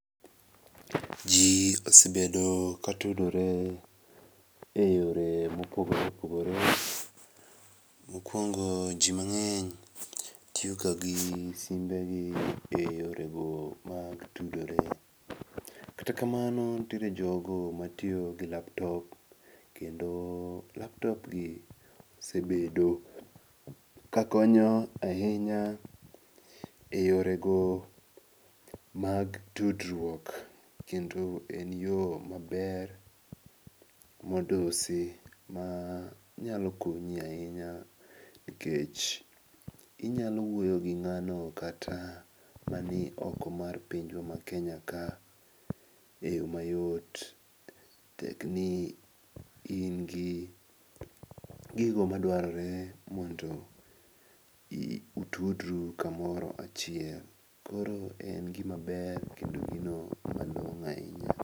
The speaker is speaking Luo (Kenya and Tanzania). Jii osebedo katudore e yore mopogore opogore, mokuongo jii mang'eny tiyoga gi simbegi e yore go mag tudore, kata kamano ntiere jogo matiyo gi laptop kendo laptop gi osebedo kakonyo ahinya e yore go mag tudruok, kendo en yo maber modusi mainyalo konyi ahinya nikech inyalo wuoyo gi ng'ano kata manioko mar pinjwa maKenya ka eyo mayot tekni in gi gigo madwarore mondo utudru kamoro achiel. Koro en gima ber kendo gino malong'o ahinya.